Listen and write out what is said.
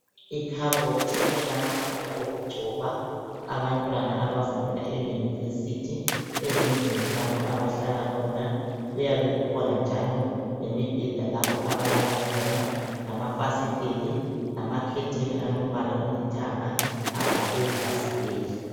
Ikhabothibelamafutha okugcoba, abantwana abafunda e university ezindlini lapho abahlala khona kuyabekukhona njalo lemibheda lapho abahlala khona lamafsiteli lamakhetheni alombala olithanga avale ifasiteli.